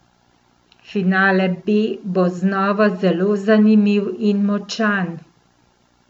Finale B bo znova zelo zanimiv in močan.